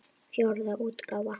Fjórða útgáfa.